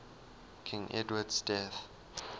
king edward's death